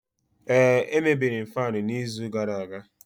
ee, emebiri m faanu n'izu gara aga